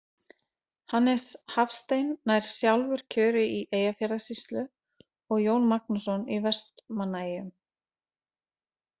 Hannes Hafstein nær sjálfur kjöri í Eyjafjarðarsýslu og Jón Magnússon í Vestmannaeyjum.